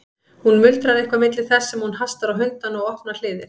Hún muldrar eitthvað milli þess sem hún hastar á hundana og opnar hliðið.